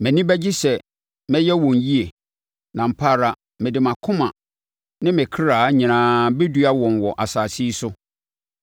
Mʼani bɛgye sɛ mɛyɛ wɔn yie, na ampa ara mede mʼakoma ne me kra nyinaa bɛdua wɔn wɔ asase yi so.